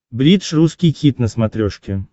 бридж русский хит на смотрешке